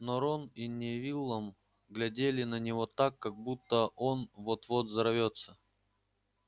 но рон и невиллом глядели на него так как будто он вот-вот взорвётся